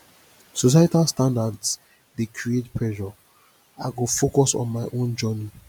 societal standards dey create pressure i go focus on my own journey